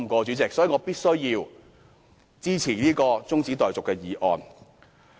主席，所以我必須支持中止待續議案。